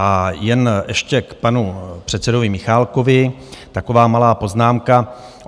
A jen ještě k panu předsedovi Michálkovi taková malá poznámka.